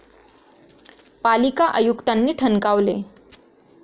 पालिका आयुक्तांनी ठणकावले